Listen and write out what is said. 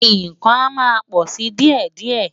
Ìkan a máa pò si díè díè.